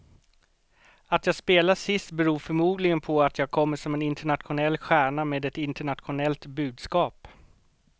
Att jag spelar sist beror förmodligen på att jag kommer som en internationell stjärna med ett internationellt budskap.